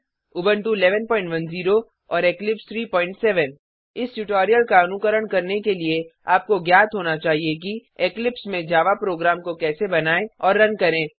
Ubuntu 1110 और Eclipse 37 इस tutorial का अनुकरण करने के लिए आपको ज्ञात होना चाहिए कि इक्लिप्स में जावा प्रोग्राम को कैसे बनाएँ और रन करें